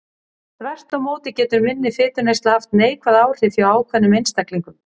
Þvert má móti getur minni fituneysla haft neikvæð áhrif hjá ákveðnum einstaklingum.